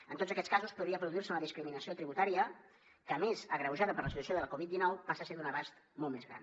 en tots aquests casos podria produir se una discriminació tributària que a més agreujada per la situació de la covid dinou passa a ser d’un abast molt més gran